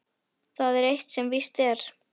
Það er eitt sem víst er.